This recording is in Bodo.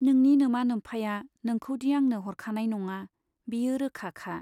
नोंनि नोमा नोम्फाया नोंखौदि आंनो हरखानाय नङा बेयो रोखा खा।